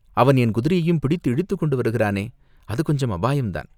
அவன் என் குதிரையையும் பிடித்து இழுத்துக் கொண்டு வருகிறானே?" "அது கொஞ்சம் அபாயந்தான்!